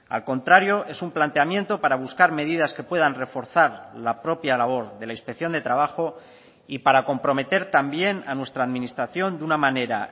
al contrario es un planteamiento para buscar medidas que puedan reforzar la propia labor de la inspección de trabajo y para comprometer también a nuestra administración de una manera